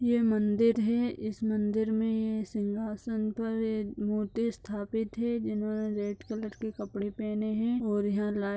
ये मंदिर है। इस मंदिर में ये सिंहासन पर ये मूर्ति स्थापित है जिन्होंने रेड कलर के कपड़े पहने हैं और यहां ला --